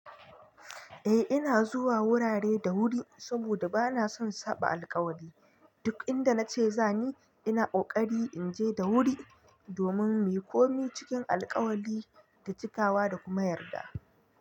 Eh ina zuwa wurare da wuri saboda bana son saba alkawali. Duk inda nace zani ina kokari inje da wuri domin muyi komi cikin alkawali da cikawa da kuma yarda.